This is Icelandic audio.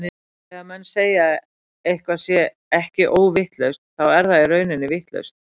En þegar menn segja að eitthvað sé ekki óvitlaust, þá er það í rauninni vitlaust.